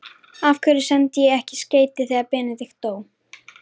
Af hverju sendi ég ekki skeyti þegar Benedikt dó?